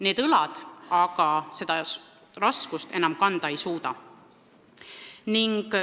Need õlad aga seda raskust enam kanda ei suuda.